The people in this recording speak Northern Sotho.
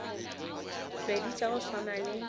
pedi tša go swana le